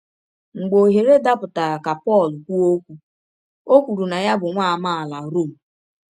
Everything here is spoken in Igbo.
Mgbe ọhere dapụtara ka Pọl kwụọ ọkwụ, ọ kwụrụ na ya bụ nwa amaala Rom.